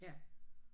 Ja